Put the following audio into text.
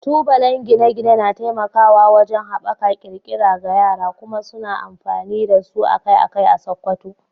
Tubalen gine-gine na taimakawa wajen haɓaka ƙirƙira ga yara, kuma suna amfani da su akai-akai a Sokoto.